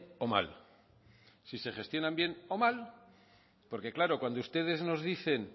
o mal si se gestionan bien o mal porque claro cuando ustedes nos dicen